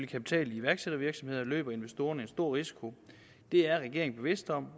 kapital i iværksættervirksomhederne løber investorerne en stor risiko det er regeringens bevidst om